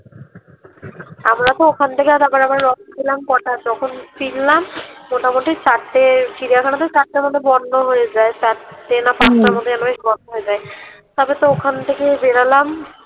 আমরা তো ওখান থেকে আবার আবার কটা যখন ফিরলাম মোটামুটি চারটে চিড়িয়াখানা তো চারটার মধ্যে বন্ধ হয়ে যায় চারটে না পাঁচটার মধ্যে যেন বন্ধ হয়ে যায় তারপর তো ওখান থেকে বেরোলাম